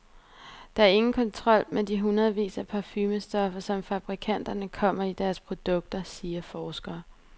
Der er ingen kontrol med de hundredvis af parfumestoffer, som fabrikanterne kommer i deres produkter, siger forsker.